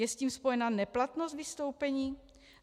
Je s tím spojena neplatnost vystoupení?